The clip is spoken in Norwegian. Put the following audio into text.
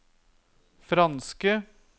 franske